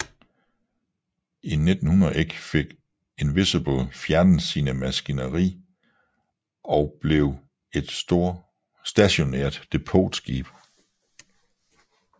I 1901 fik Invincible fjernet sin maskineri og blev et stationært depotskib